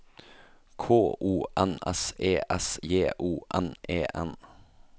K O N S E S J O N E N